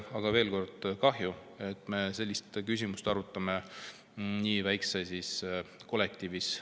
Aga veel kord: kahju, et me sellist küsimust arutame nii väikses kollektiivis.